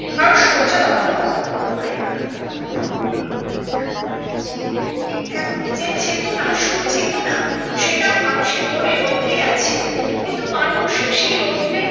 কারণ সূর্য তখনো অস্ত মিতো হয় না সেই জায়গাতেই আছে ঠিক তেমনি যে চেতনা সুর চেতনা সেটাও মানুষের মনের মধ্যেই আছে কিন্তু মানুষ সেই রৌদ্রে